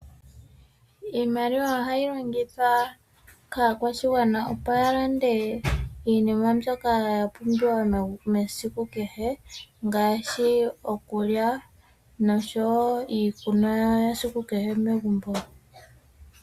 Iimaliwa ohayi longithwa kaakwashigwana opo yalande iinima mbyoka yapumbiwa mesiku kehe ngaashi okulya noshowoo iikunwa yesiku kehe megumbo.